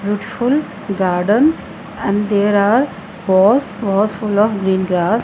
beautiful garden and there are house house full of green grass.